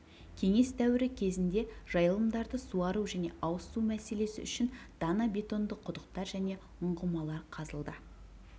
кеңес дәуірі кезінде жайылымдарды суару және ауыз су мәселесі үшін дана бетонды құдықтар және ұңғымалар қазылды